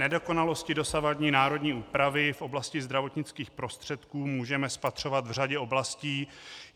Nedokonalosti dosavadní národní úpravy v oblasti zdravotnických prostředků můžeme spatřovat v řadě oblastí.